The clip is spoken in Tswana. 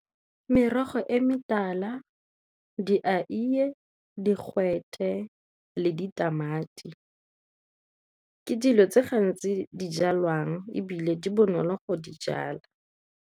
Merogo e metala di digwete le ditamati ke dilo tse gantsi di jalwang ebile di bonolo go di jala.